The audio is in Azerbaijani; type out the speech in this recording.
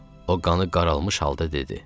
O qanı qaralmış halda dedi: